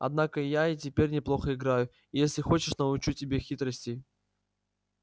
однако я и теперь неплохо играю и если хочешь научу тебя хитростей